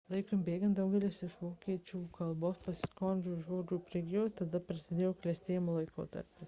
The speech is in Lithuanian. laikui bėgant daugelis iš vokiečių kalbos pasiskolintų žodžių prigijo tada prasidėjo klestėjimo laikotarpis